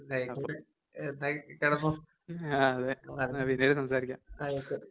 എന്നാ ആയിക്കോട്ടെ. എന്നാ കെടന്നോ ആയിക്കോട്ടെ.